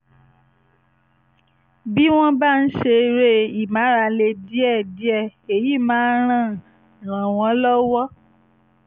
bí wọ́n bá ń ṣe eré ìmárale díẹ̀díẹ̀ èyí máa ràn ràn wọ́n lọ́wọ́